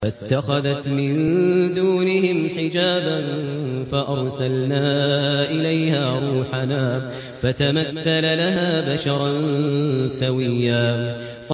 فَاتَّخَذَتْ مِن دُونِهِمْ حِجَابًا فَأَرْسَلْنَا إِلَيْهَا رُوحَنَا فَتَمَثَّلَ لَهَا بَشَرًا سَوِيًّا